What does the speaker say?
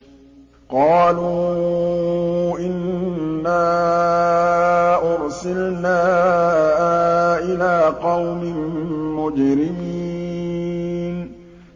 قَالُوا إِنَّا أُرْسِلْنَا إِلَىٰ قَوْمٍ مُّجْرِمِينَ